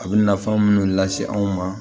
A bɛ nafan minnu lase an ma